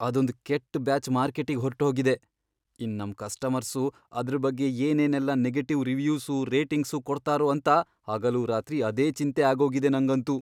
ಅದೊಂದ್ ಕೆಟ್ ಬ್ಯಾಚ್ ಮಾರ್ಕೆಟಿಗ್ ಹೊರ್ಟೋಗಿದೆ, ಇನ್ನ್ ನಮ್ ಕಸ್ಟಮರ್ಸು ಅದ್ರ್ ಬಗ್ಗೆ ಏನೇನೆಲ್ಲ ನೆಗೆಟಿವ್ ರಿವ್ಯೂಸು, ರೇಟಿಂಗ್ಸು ಕೊಡ್ತಾರೋ ಅಂತ ಹಗಲೂರಾತ್ರಿ ಅದೇ ಚಿಂತೆ ಆಗೋಗಿದೆ ನಂಗಂತೂ.